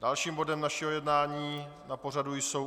Dalším bodem našeho jednání na pořadu jsou